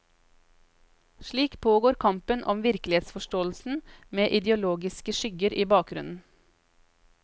Slik pågår kampen om virkelighetsforståelsen med ideologiske skygger i bakgrunnen.